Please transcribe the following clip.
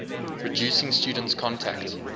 reducing students contact